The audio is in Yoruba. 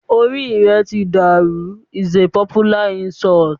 "o rí rẹ tí dàrú" is a popular insult.